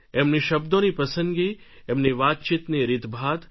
એમની શબ્દોની પસંદગી એમની વાતચીતની રીતભાત